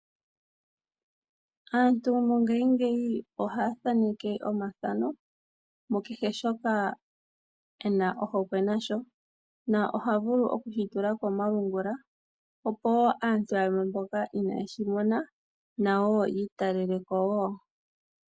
Aantu mongashingeyi ohaya thaneke omathano mukehe shoka ena ohokwe nasho no ohavulu okushi tula komalungula opo woo aantu yamwe mboka inayeshi mona yi italeleko woo.